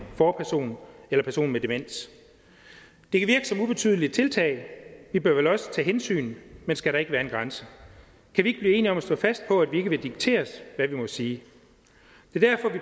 forperson eller person med demens det kan virke som ubetydelige tiltag og vi bør vel også tage hensyn men skal der ikke være en grænse kan vi ikke blive enige om at stå fast på at vi ikke vil dikteres hvad vi må sige